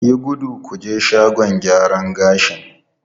Yi gudu ku je shagon gyaran gashi!